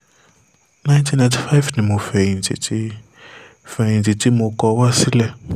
nineteen ninety five ni mo fẹ̀yìntì tí fẹ̀yìntì tí mo kọ wá sílẹ̀